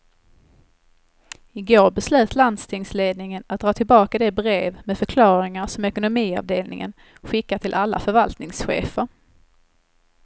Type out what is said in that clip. I går beslöt landstingsledningen att dra tillbaka det brev med förklaringar som ekonomiavdelningen skickat till alla förvaltningschefer.